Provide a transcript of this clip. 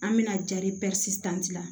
An bɛna jari la